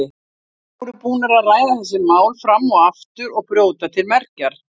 Þær voru búnar að ræða þessi mál fram og aftur og brjóta til mergjar.